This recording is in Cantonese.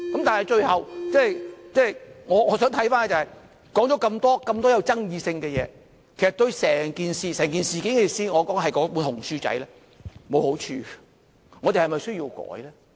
但是，最後，我想看看，說了這麼多具爭議性的事，其實對整件事——我說的是"紅書仔"——沒有好處，我們是否需要修改呢？